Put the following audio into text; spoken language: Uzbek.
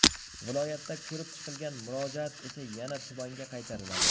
Viloyatda ko‘rib chiqilgan murojaat esa yana tumanga qaytariladi.